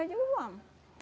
Eu digo, vamos.